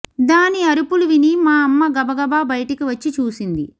దాని అరుపులు విని మా అమ్మ గబగబా బయటికి వచ్చి చూసింది